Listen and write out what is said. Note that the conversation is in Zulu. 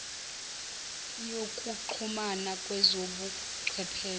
yokuxhumana kwezobu chwepheshe